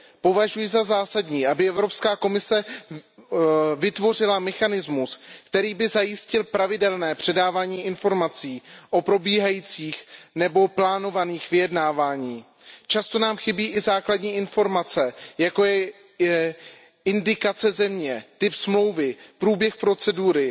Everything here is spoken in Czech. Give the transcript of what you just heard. Považuji za zásadní, aby Evropská komise vytvořila mechanismus, který by zajistil pravidelné předávání informací o probíhajících nebo plánovaných vyjednáváních. Často nám chybí i základní informace, jako je indikace země, typ dohody, průběh procedury